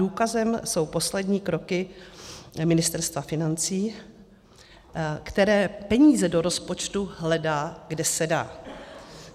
Důkazem jsou poslední kroky Ministerstva financí, které peníze do rozpočtu hledá, kde se dá.